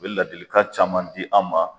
A be ladilikan caman di an ma